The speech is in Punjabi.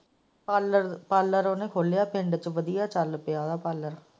ਪਾਰਲਰ ਉਹਨੇ ਖੁਲਿਆ ਹੈ ਪਿੰਡ ਵਿੱਚ ਵਧੀਆ ਚਾਲ ਪਾਇਆ ਹੈ ਪਾਰਲਰ।